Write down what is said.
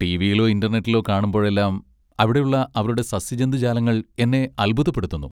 ടിവിയിലോ ഇന്റർനെറ്റിലോ കാണുമ്പോഴെല്ലാം അവിടെയുള്ള അവരുടെ സസ്യജന്തുജാലങ്ങൾ എന്നെ അത്ഭുതപ്പെടുത്തുന്നു.